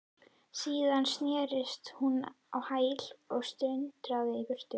Síðan snerist hún á hæli og strunsaði í burtu.